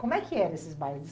Como é que eram esses bailes?